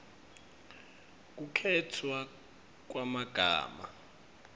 kukhetfwa kwemagama